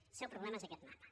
el seu problema és aquest mapa